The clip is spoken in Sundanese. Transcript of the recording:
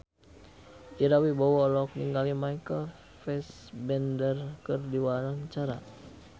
Ira Wibowo olohok ningali Michael Fassbender keur diwawancara